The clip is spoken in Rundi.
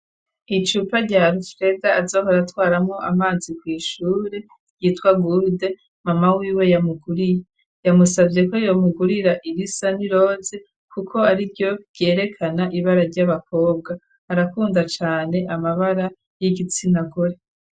Icupa rya arufereda azohora twaramo amazi ku ishure yitwa gurde mama wiwe yamuguriye yamusavye ko yamugurira irisa niroze kuko ariryo ryerekana ibara ry'abakobwa arakunda cane amabara y'igitsinagore.